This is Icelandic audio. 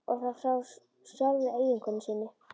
Og það frá sjálfri eiginkonu sinni.